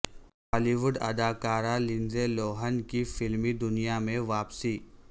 ہالی وڈ اداکارہ Lindsay Lohan کی فلمی دنیا میں واپسی